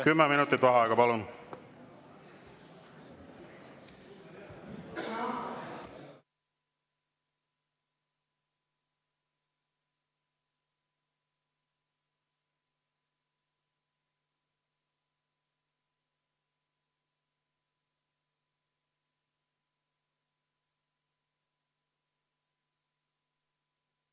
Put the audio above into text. Kümme minutit vaheaega, palun!